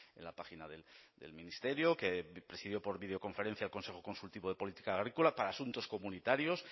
en la página del ministerio que presidió por videoconferencia el consejo consultivo de política agrícola para asuntos comunitarios